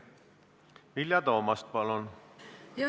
Vilja Toomast, palun!